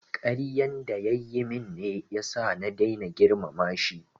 Karyan da ya yi min ne ya sa na daina girmama shi